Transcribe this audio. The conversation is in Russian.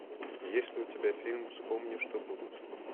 есть ли у тебя фильм вспомни что будет